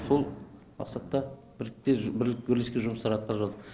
сол мақсатта бірлескен жұмыс атқарып жатыр